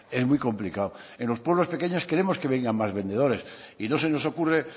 es muy complicado en los pueblos pequeños queremos que vengan más vendedores y no se nos ocurre